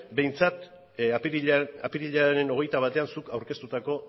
behintzat apirilaren hogeita batean zuk aurkeztutako